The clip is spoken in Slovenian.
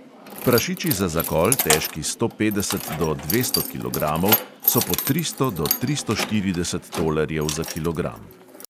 Prašiči za zakol, težki sto petdeset do dvesto kilogramov, so po tristo do tristo štirideset tolarjev za kilogram.